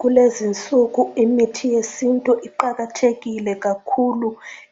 Kulezinsuku imithi yesintu iqakathekile kakhulu